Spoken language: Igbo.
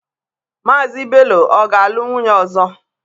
Mazị Bello ọ ga-alụ nwunye ọzọ?